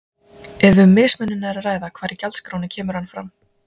Ef um mismunun er að ræða hvar í gjaldskránni kemur hann fram?